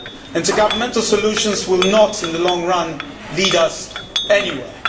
Intergovernmental solutions will not, in the long run, lead us anywhere.